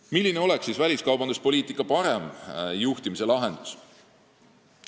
Milline oleks siis lahendus, et väliskaubanduspoliitika oleks paremini juhitud?